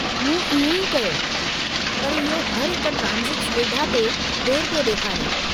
मूं इएं ई कयो, पर इहो हर हिक ट्रांज़िट सुविधा ते देरि पियो ॾेखारे।